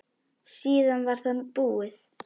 Síðan var það búið.